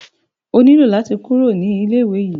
O nílò láti kúrò ní ilé ìwé yìí.